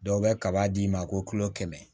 Dɔw bɛ kaba d'i ma ko kulo kɛmɛ